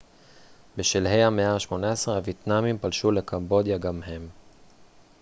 בשלהי המאה ה-18 הוייטנאמים פלשו לקמבודיה גם הם